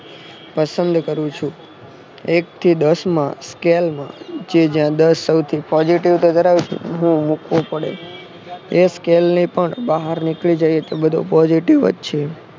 પસંદ કરું છું. એક થી દસ માં સ્કેલમાંજે જ્યાં દસ સૌથી Positive તો ઘરાવે છે. એ સ્કેલની પણ બહાર નીકળી જઈએ તો બધું positive જ છે.